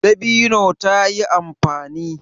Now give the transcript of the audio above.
Dabino ta yi amfani.